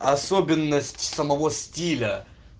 особенность самого стиля